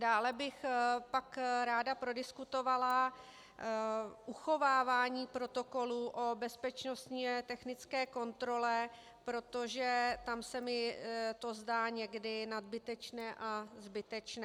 Dále bych pak ráda prodiskutovala uchovávání protokolů o bezpečnostně technické kontrole, protože tam se mi to zdá někdy nadbytečné a zbytečné.